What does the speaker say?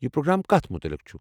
یہ پروگرٛام کتھ مُتعلق چھُ؟